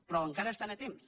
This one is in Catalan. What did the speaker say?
però encara hi estan a temps